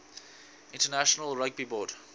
international rugby board